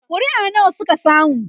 ƙuri'a nawa Suka samu?